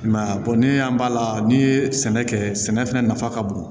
I m'a ye ni y'an b'a la n'i ye sɛnɛ kɛ sɛnɛ fɛnɛ nafa ka bon